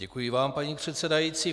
Děkuji vám, paní předsedající.